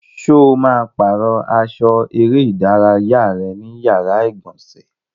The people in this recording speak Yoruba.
Ṣo ma pàrọ́ aṣọ eré ìdárayá ẹ ní yàrá ìgbọ̀nsẹ̀?